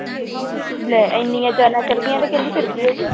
ਲੈ ਇੰਨੀਆਂ ਜਾਨਾਂ ਚਲੇ ਗਈਆਂ ਤੇ ਕਹਿੰਦੀ ਫਿਰ ਕੀ ਹੋ ਗਿਆ।